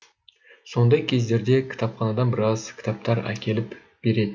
сондай кездерде кітапханадан біраз кітаптар әкеліп беретін